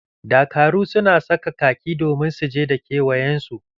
Dakaru su na saka khaki domin su saje da kewayen su.